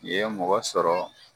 Ni ye mɔgɔ sɔrɔ.